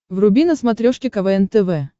вруби на смотрешке квн тв